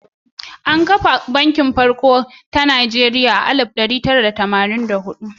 An ka kafa Banki Farko na Najeriya a shekara ta alif ɗari tara da tamanin da huɗu.